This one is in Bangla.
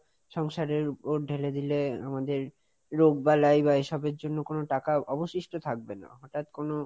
সংসারের উপর ঢেলে দিলে আমাদের রোগ বালায় বা এইসবের জন্য কোনো টাকা অবশিষ্ট থাকবে না, হটাৎ কোনো,